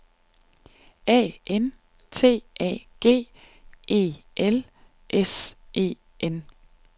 A N T A G E L S E N